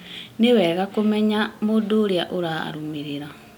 Nĩ wega kũmenya mũndũ ũrĩa ũrarũmĩrĩra